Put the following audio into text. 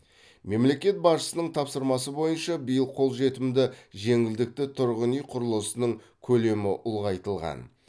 мемлекет басшысының тапсырмасы бойынша биыл қолжетімді жеңілдікті тұрғын үй құрылысының көлемі ұлғайтылған